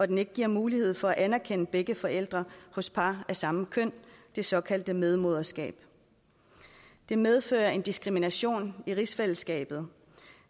den ikke giver mulighed for at anerkende begge forældre hos par af samme køn det såkaldte medmoderskab det medfører en diskrimination i rigsfællesskabet